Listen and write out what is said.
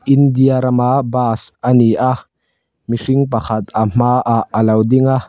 India rama bas a ni a mihring pakhat a hmaah a lo ding a.